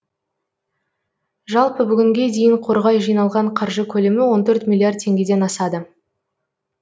жалпы бүгінге дейін қорға жиналған қаржы көлемі он төрт миллиард теңгеден асады